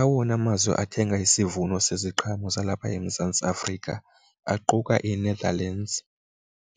Awona mazwe athenga isivuno seziqhamo zalapha eMzantsi Afrika aquka iNetherlands,